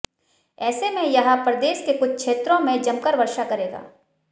ऐसे में यह प्रदेश के कुछ क्षेत्रों में जमकर वर्षा करेगा